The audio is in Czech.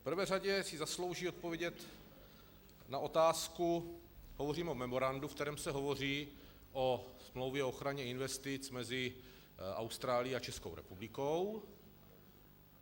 V prvé řadě si zaslouží odpovědět na otázku, hovořím o memorandu, ve kterém se hovoří o Smlouvě o ochraně investic mezi Austrálií a Českou republikou.